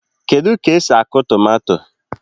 Kedu k'esi akụ tomato?